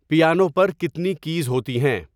piano پر کتنی keys ہوتی ہیں